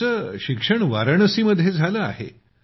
तुमचे शिक्षण वाराणसी मध्ये झाले आहे